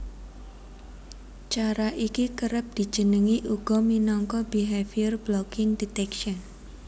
Cara iki kerep dijenengi uga minangka Behavior blocking detection